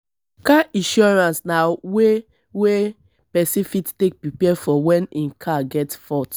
car insurance na way wey person fit take preapre for when im car get fault